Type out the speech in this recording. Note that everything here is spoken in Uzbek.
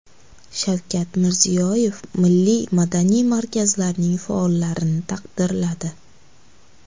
Shavkat Mirziyoyev milliy madaniy markazlarning faollarini taqdirladi.